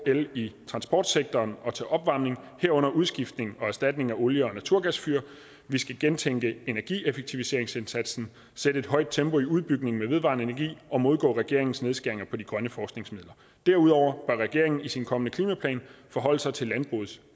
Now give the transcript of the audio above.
i transportsektoren og til opvarmning herunder ved udskiftning og erstatning af olie og naturgasfyr vi skal gentænke energieffektiviseringsindsatsen sætte et højt tempo i udbygningen med vedvarende energi og modgå regeringens nedskæringer på de grønne forskningsmidler derudover bør regeringen i sin kommende klimaplan forholde sig til landbrugets